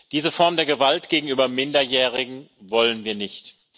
Diese Form der Gewalt gegenüber Minderjährigen wollen wir nicht.